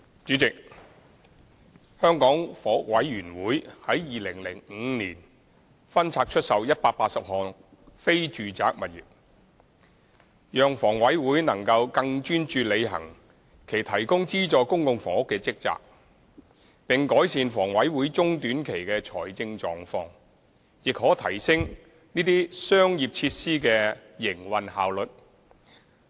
主席，香港房屋委員會在2005年分拆出售180項非住宅物業，讓房委會能夠更專注履行其提供資助公共房屋的職責，並改善房委會中短期的財政狀況，亦可提升這些商業設施的營運效率。